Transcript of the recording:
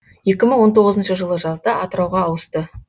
екі мың он тоғызыншы жылы жазда атырауға ауысты